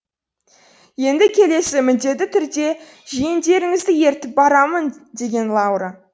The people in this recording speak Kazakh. енді келесі міндетті түрде жиендеріңізді ертіп барамын деген лаура